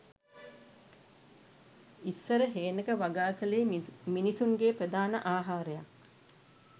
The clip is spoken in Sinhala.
ඉස්සර හේනක වගා කලේ මිනිසුන්ගේ ප්‍රධාන ආහාරයක්